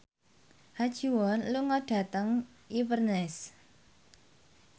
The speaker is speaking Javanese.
Ha Ji Won lunga dhateng Inverness